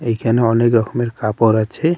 এখানে অনেক রকমের কাপড় আছে।